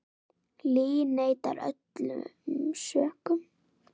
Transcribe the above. Lee neitar öllum sökum.